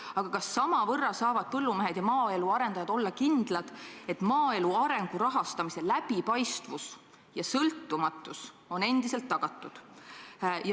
Aga kas samavõrra saavad põllumehed ja maaelu arendajad olla kindlad, et maaelu arengu rahastamise läbipaistvus ja sõltumatus on endiselt tagatud?